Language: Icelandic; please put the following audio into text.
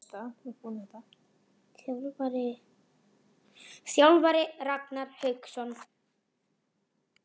Þjálfari: Ragnar Hauksson.